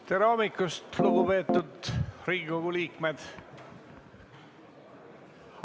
Tere hommikust, lugupeetud Riigikogu liikmed!